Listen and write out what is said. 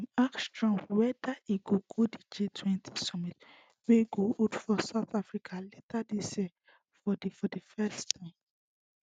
dem ask trump weda e go go di gtwenty summit wey go hold for south africa later dis year for di for di first time